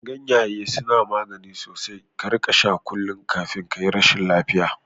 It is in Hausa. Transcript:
Ganyaye suna magani sosai, ka rika sha kullum kafin kayi rashin lafiya